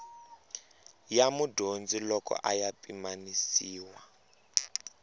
ya mudyondzi loko ya pimanisiwa